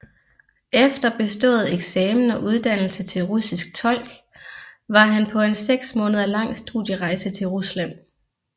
Efter bestået eksamen og uddannelse til russisk tolk var han på en seks måneder lang studierejse til Rusland